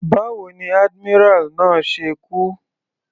Báwo ni admiral náà ṣe kú.